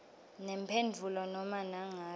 nemphendvulo nobe nangabe